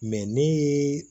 ni